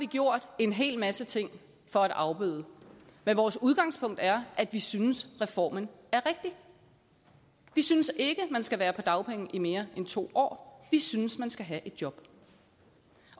vi gjort en hel masse ting for at afbøde men vores udgangspunkt er at vi synes at reformen er rigtig vi synes ikke at man skal være på dagpenge i mere end to år vi synes at man skal have et job